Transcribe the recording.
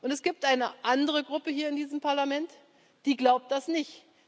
Und es gibt eine andere Gruppe hier in diesem Parlament, die glaubt das nicht.